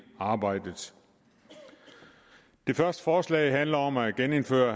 arbejdet det første forslag handler om at genindføre